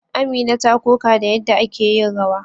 Amina ta koka da yadda ake yin rawa.